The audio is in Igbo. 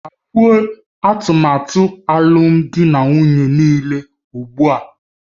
Kagbuo atụmatụ alụmdi na nwunye niile ugbu a!